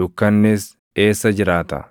Dukkannis eessa jiraata?